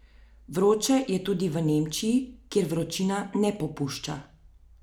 Vroče je tudi v Nemčiji, kjer vročina ne popušča.